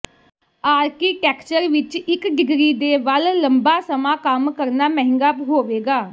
architecture ਵਿਚ ਇਕ degree ਦੇ ਵੱਲ ਲੰਬਾ ਸਮਾਂ ਕੰਮ ਕਰਨਾ ਮਹਿੰਗਾ ਹੋਵੇਗਾ